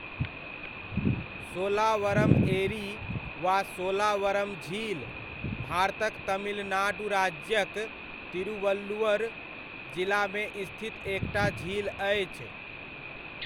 शोलावरम एरी वा शोलावरम झील भारतक तमिलनाडु राज्यक तिरुवल्लुर जिलामे स्थित एक टा झील अछि।